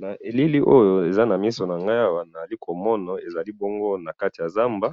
na elili oyo eza na misu nangayi awa nazali komona ezali bongo na kati ya zamba